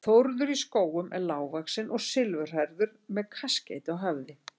Þórður í Skógum er lágvaxinn og silfurhærður með kaskeiti á höfði.